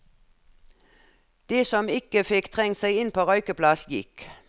De som ikke fikk trengt seg inn på røykeplass, gikk.